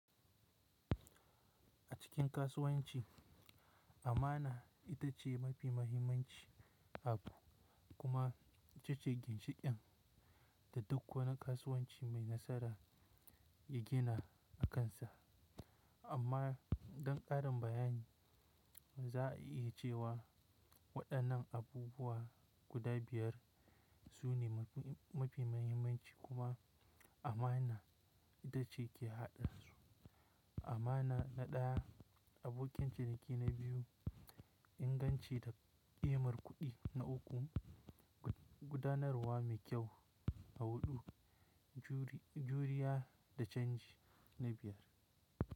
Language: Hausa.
A cikin kasuwanci, amana ita ce mafi mahimmanci abu kuma ita ce ginshiƙin da duk wani kasuwanci mai nasara ya gina akansa. Amma don ƙarin bayani, za a iya cewa waɗannan abubuwa guda biyar su ne mafi muhimmanci kuma amana ita ce ke haɗe su: amana na ɗaya, abokin ciniki na biyu, inganci da ƙimar kuɗi na uku, gudanarwa mai kyau a huɗu, juriya da canji na biyar.